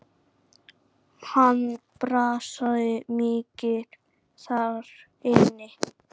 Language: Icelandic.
Hann brasaði mikið þar inni.